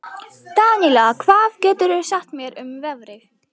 Daníela, hvað geturðu sagt mér um veðrið?